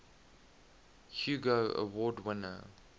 hugo award winner